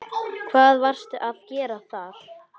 Hvað varstu að gera þar?